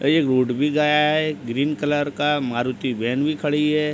ये रोड भी गया है ग्रीन कलर का मारुती वेन भी खड़ी है।